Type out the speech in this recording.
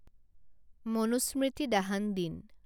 মনুস্মৃতি দাহান দিন